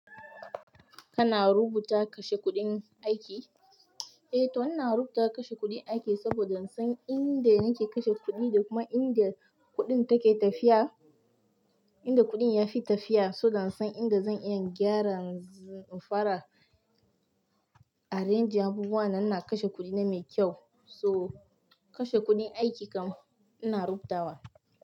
Kana rubuta kashe kuɗin aiki? Eh to ina rubuta kashe kuɗin aiki saboda in san inda nake kashe kuɗi da kuma inda kuɗin take tafiya, inda kuɗin ya fi tafiya. So dan in san inda zan iya gyara, fara arrange abubuwa nan na kashe kuɗi na mai kyau. To, kashe kuɗin aiki kam ina rubutawa.